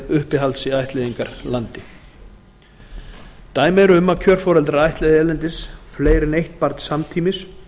uppihalds í ættleiðingarlandi dæmi eru um að kjörforeldrar ættleiði erlendis fleiri en eitt barn samtímis